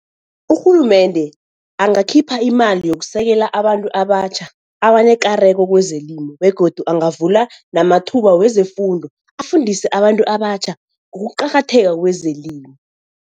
Urhulumende angakhipha imali yokusekela abantu abatjha abanekareko kwezelimo begodu angavula namathuba wezefundo, afundise abantu abatjha ngokuqakatheka kwezelimo.